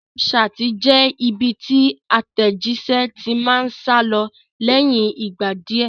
Snapchat jẹ́ ibi tí àtẹ̀jíṣé ti máa ń sálọ lẹ́yìn ìgbà díẹ̀